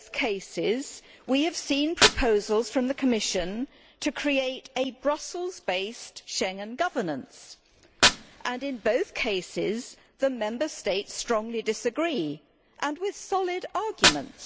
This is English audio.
In both cases we have seen proposals from the Commission to create a Brussels based Schengen governance, and in both cases the Member States strongly disagree, with solid arguments.